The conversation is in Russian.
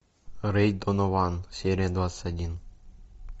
рэй донован серия двадцать один